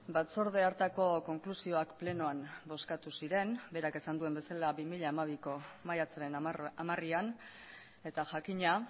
batzorde hartako konklusioak plenoan bozkatu ziren berak esan duen bezala bi mila hamabiko maiatzaren hamarean eta jakina